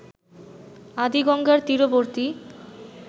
আদি গঙ্গার তীরবর্তী